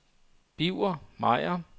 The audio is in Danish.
Birger Meyer